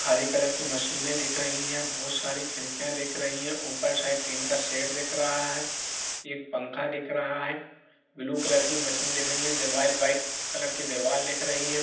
हरे colour की मशीने दिख रही है बहुत सारी खिड़किया दिख रही है ऊपर साइड टीन का सेट दिख रहा है एक पंखा दिख रहा है ब्लू कलर की मशीन दिख रही है दीवाल वाइट कलर की दीवाल दिख रही है।